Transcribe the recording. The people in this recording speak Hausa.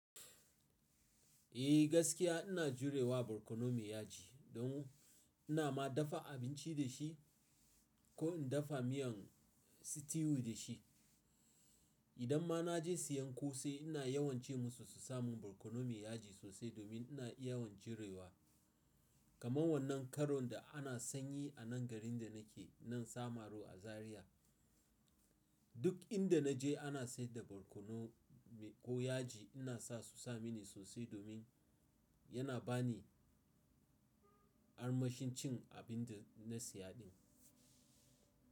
Eh gaskiya ina jurewa barkono mai yaji don ina ma dafa abinci da shi ko in dafa miyan stew da shi. Idan ma na je siyan kose ina yawance musu su sami barkono mai yaji sosai domin ina yawan jurewa. Kamar wannan karon da ana sanyi a nan garin da nake, nan Samaru a Zariya. Duk inda na je ana saida barkono ko yaji ina sa su sa mini sosai domin yana ba ni armashin cin abin da na siya din.